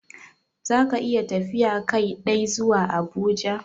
Za ka iya tafiya Kai dai zuwa Abuja?